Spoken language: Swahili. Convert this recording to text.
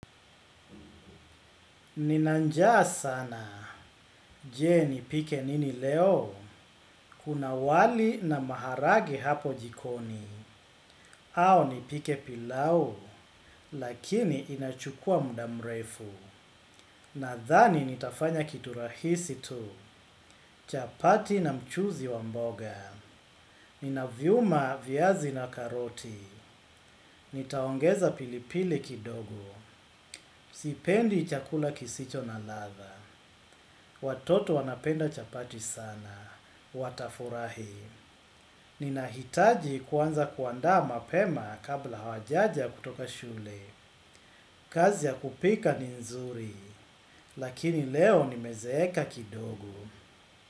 Nina njaa sana, je nipike nini leo, kuna wali na maharage hapo jikoni, au nipike pilau, lakini inachukua mda mrefu, nadhani nitafanya kitu rahisi tu, chapati na mchuzi wa mboga, nina viuma viazi na karoti, nitaongeza pilipili kidogo, sipendi chakula kisicho na ladha, watoto wanapenda chapati sana. Watafurahi. Ninahitaji kuanza kuandaa mapema kabla hawajaja kutoka shule. Kazi ya kupika ni nzuri, lakini leo nimezeeka kidogo.